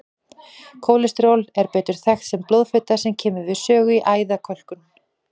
Kólesteról er betur þekkt sem blóðfita sem kemur við sögu í æðakölkun.